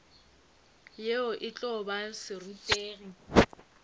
yena e tlo ba serutegi